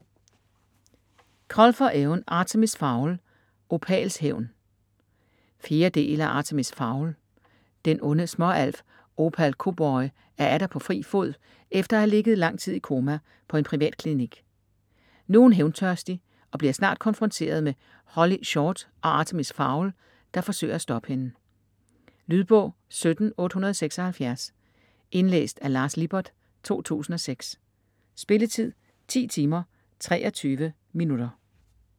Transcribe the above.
Colfer, Eoin: Artemis Fowl - Opals hævn 4. del af Artemis Fowl. Den onde småalf Opal Koboi er atter på fri fod efter at have ligget lang tid i koma på en privatklinik. Nu er hun hævntørstig, og bliver snart konfronteret med Holly Short og Artemis Fowl, der forsøger at stoppe hende. Lydbog 17876 Indlæst af Lars Lippert, 2006. Spilletid: 10 timer, 23 minutter.